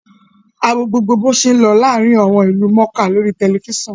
A wo gbogbo bo ṣé ń lọ láàárín àwọn ìlú mọ̀ọ́ká lórí tẹ̀lifísàn